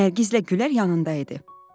Nərgizlə Gülər yanında idi.